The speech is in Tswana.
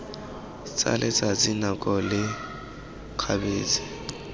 tsa letsatsi nako le kgabetsa